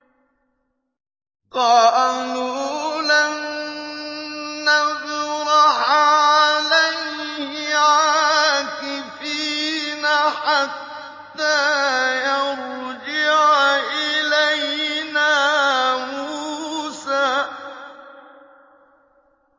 قَالُوا لَن نَّبْرَحَ عَلَيْهِ عَاكِفِينَ حَتَّىٰ يَرْجِعَ إِلَيْنَا مُوسَىٰ